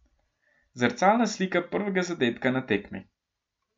Zrcalna slika prvega zadetka na tekmi!